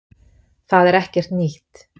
Það er ekkert nýtt